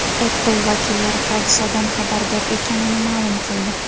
Apple vakillari hodisadan xabardor ekanini ma’lum qildi.